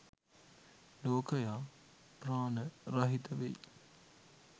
ලෝකයා ප්‍රාණ රහිත වෙයි.